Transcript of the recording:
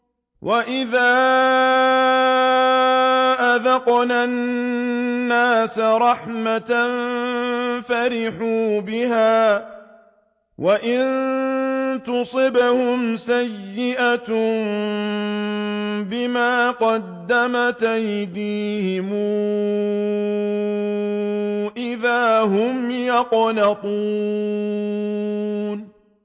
وَإِذَا أَذَقْنَا النَّاسَ رَحْمَةً فَرِحُوا بِهَا ۖ وَإِن تُصِبْهُمْ سَيِّئَةٌ بِمَا قَدَّمَتْ أَيْدِيهِمْ إِذَا هُمْ يَقْنَطُونَ